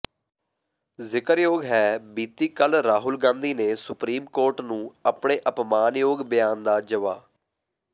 ਜ਼ਿਕਰਯੋਗ ਹੈ ਬੀਤੀ ਕੱਲ੍ਹ ਰਾਹੁਲ ਗਾਂਧੀ ਨੇ ਸੁਪਰੀਮ ਕੋਰਟ ਨੂੰ ਆਪਣੇ ਅਪਮਾਨਯੋਗ ਬਿਆਨ ਦਾ ਜਵਾ